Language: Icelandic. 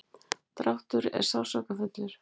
dráttur er sársaukafullur.